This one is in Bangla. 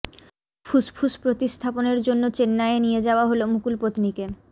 ফুসফুস প্রতিস্থাপনের জন্য চেন্নাইয়ে নিয়ে যাওয়া হল মুকুল পত্নীকে